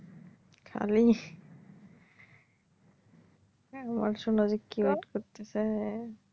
খালি কী করতাছে?